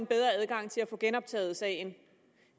bedre adgang til at få genoptaget sagen